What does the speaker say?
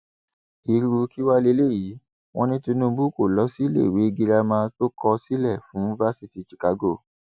irú kí wàá lélẹyìí wọn ní tinubu kó lọ síléèwé girama tó kọ sílẹ fún fásitì chicago